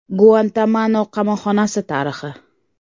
Guantanamo qamoqxonasi tarixi.